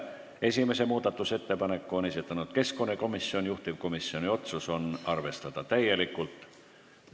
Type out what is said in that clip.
Esimese muudatusettepaneku on esitanud keskkonnakomisjon, juhtivkomisjoni otsus: arvestada täielikult.